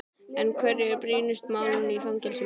En hver eru brýnustu málin í fangelsum í dag?